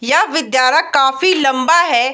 यह विद्यालय काफी लम्बा है।